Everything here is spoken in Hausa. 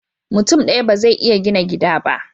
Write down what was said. Mutun daya bazai iya gina gida ba